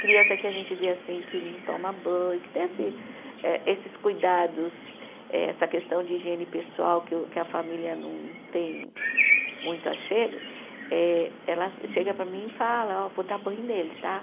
Criança que a gente vê assim, que não toma banho, que tem esse eh, esses cuidados, eh essa questão de higiene pessoal que o, que a família não tem muito achego, eh ela chega para mim e fala, ó vou dar banho nele, tá?